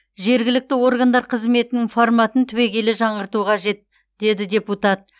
жергілікті органдар қызметінің форматын түбегейлі жаңғырту қажет деді депутат